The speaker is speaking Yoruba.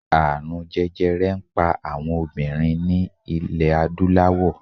Ààrun jẹjẹrẹ n pa awọn obinrin ni ilẹ adulawọ